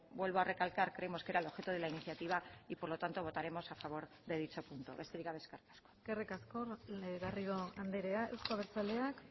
vuelvo a recalcar creemos que era el objeto de la iniciativa y por lo tanto votaremos a favor de dicho punto besterik gabe eskerrik asko eskerrik asko garrido andrea euzko abertzaleak